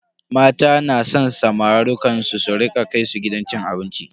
Mata na san samarukan su su rika kai su gidan cin abinci.